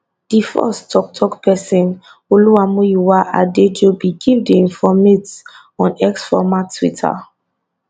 di force toktok pesin olumuyiwa adejobi give di informate on x former twitter